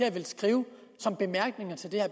at skrive som bemærkninger til det her